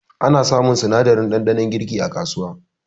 Ana samun sinadarin ɗanɗanon girki a kasuwa